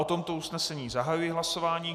O tomto usnesení zahajuji hlasování.